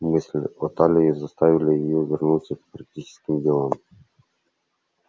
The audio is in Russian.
мысль о талии заставила её вернуться к практическим делам